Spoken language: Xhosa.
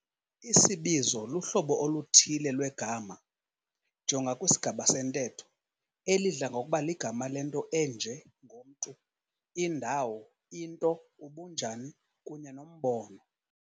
Isibizo luhlobo oluthile lwegama, jonga kwisigaba sentetho, elidla ngokuba ligama lento enje ngomntu, indawo, into, ubunjani, kunye nombono.